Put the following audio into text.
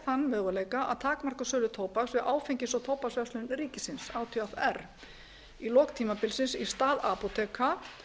þann möguleika að takmarka sölu tóbaks við áfengis og tóbaksverslun ríkisins átvr í lok tímabilsins í stað apóteka